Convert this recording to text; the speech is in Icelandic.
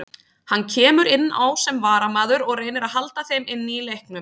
Hann kemur inn á sem varamaður og reynir að halda þeim inni í leiknum.